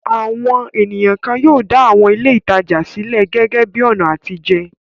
Àwọn ènìyàn kan yóò dá àwọn ilé-ìtajà sílẹ̀ gẹ́gẹ́ bí i ọ̀nà àtijẹ.